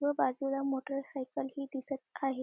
व बाजूला मोटार सायकलही दिसत आहे.